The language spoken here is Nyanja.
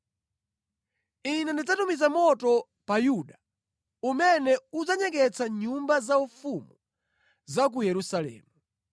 Ine ndidzatumiza moto pa Yuda, umene udzanyeketsa nyumba zaufumu za ku Yerusalemu.”